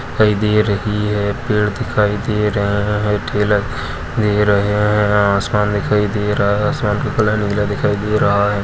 दिखायी दे रही हे पेड़ दिखाई दे रहे हैं हइ टेलर दे रहे हैं अ आसमान दिखायी दे रहा है आसमान का कलर नीला दिखाई दे रहा है।